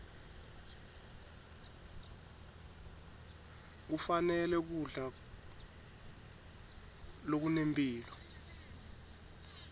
kufanele kudla lokunempilo